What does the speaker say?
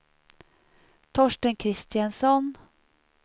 Torsten Kristensson